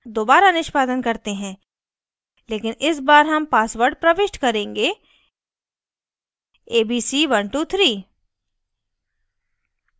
दोबारा निष्पादन करते हैं लेकिन इस बार हम password प्रविष्ट करेंगे abc123